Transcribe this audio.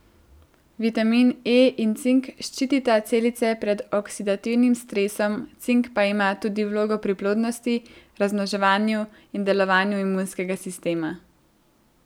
Vitamin E in cink ščitita celice pred oksidativnim stresom, cink pa ima tudi vlogo pri plodnosti, razmnoževanju in delovanju imunskega sistema.